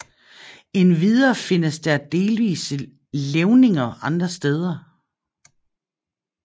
Endvidere findes der delvise levninger andre steder